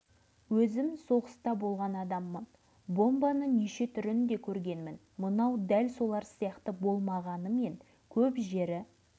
сосын анадайдан байқағанымда ши түбінде үймелеген адамдар көзіме түсті жанында ат тракторлар тұр әлгіге үңіліп қарап